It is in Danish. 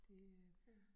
Det øh